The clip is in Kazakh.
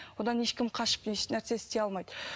одан ешкім қашып ешнәрсе істей алмайды